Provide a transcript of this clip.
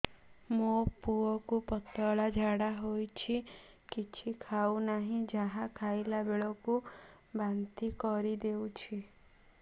ମୋ ପୁଅ କୁ ପତଳା ଝାଡ଼ା ହେଉଛି କିଛି ଖାଉ ନାହିଁ ଯାହା ଖାଇଲାବେଳକୁ ବାନ୍ତି କରି ଦେଉଛି